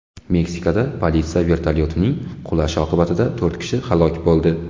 Meksikada politsiya vertolyotining qulashi oqibatida to‘rt kishi halok bo‘ldi.